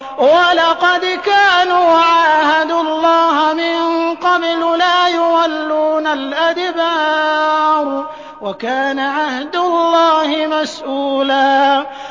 وَلَقَدْ كَانُوا عَاهَدُوا اللَّهَ مِن قَبْلُ لَا يُوَلُّونَ الْأَدْبَارَ ۚ وَكَانَ عَهْدُ اللَّهِ مَسْئُولًا